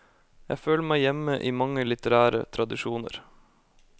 Jeg føler meg hjemme i mange litterære tradisjoner.